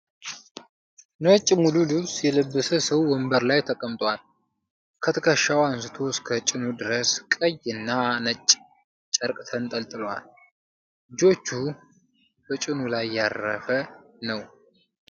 ነጭ ሙሉ ልብስ የለበሰ ሰው ወንበር ላይ ተቀምጧል። ከትከሻው አንስቶ እስከ ጭኑ ድረስ ቀይና ነጭ ጨርቅ ተንጠልጥሏል። እጆቹ በጭኑ ላይ ያረፈ ነው።